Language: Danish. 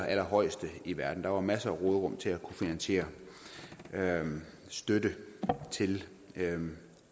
allerhøjeste i verden der er masser af råderum til at finansiere støtte til